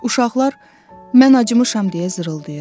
Uşaqlar “mən acımışam” deyə zırıldayırdı.